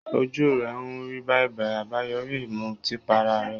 Ojú rẹ̀ ń rí bàìbàì, àbáyoríi ìmutípara rẹ̀